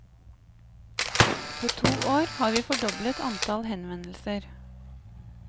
På to år har vi fordoblet antall henvendelser.